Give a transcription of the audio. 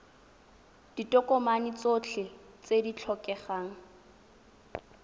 ditokomane tsotlhe tse di tlhokegang